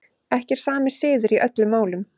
Ekki er sami siður í öllum málum.